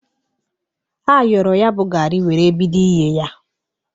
Ayọro ya bụ gari were bido ighe ya.